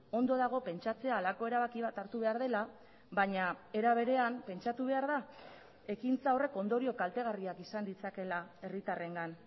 ondo dago pentsatzea halako erabaki bat hartu behar dela baina era berean pentsatu behar da ekintza horrek ondorio kaltegarriak izan ditzakeela herritarrengan